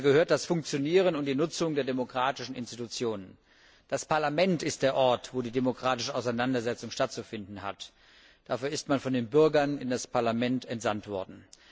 Dazu gehören das Funktionieren und die Nutzung der demokratischen Institutionen. Das Parlament ist der Ort, wo die demokratische Auseinandersetzung stattzufinden hat. Dafür ist man von den Bürgern in das Parlament entsandt worden.